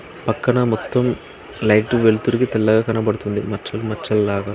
పక్కన మొత్తం లైట్ వెలుతురుకి తెల్లగ కనబడుతుంది. మచ్చల్ మచ్చల్లాగ.